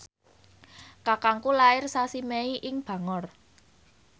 kakangku lair sasi Mei ing Bangor